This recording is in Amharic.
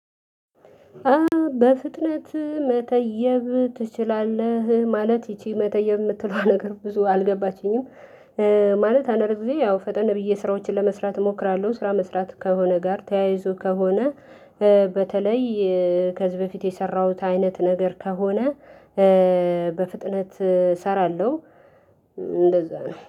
በፍጥነት መተየብ ትችላለህ ማለት ይቺ መተየብ የምትለዋ ነገር ብዙ አልገባችኝም ማለት አነርክ ጊዜ ያው ፈጠን ብዬ ስራዎችን ለመስራት እሞክራለሁ። ስራ መስራት ከሆነ ጋር ተያይዞ ከሆነ በተለይ ከዚህ በፊት የሰራሁት አይነት ነገር ከሆነ በፍጥነት እሰራለሁ። እንደዛ ነው